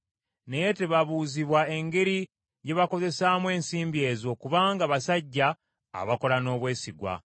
Naye tebabuuzibwa engeri gye bakozesezaamu ensimbi ezo, kubanga basajja abakola n’obwesigwa.”